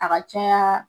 A ka caya